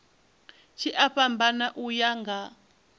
tshi a fhambana uya nga